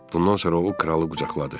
Bundan sonra o, kralı qucaqladı.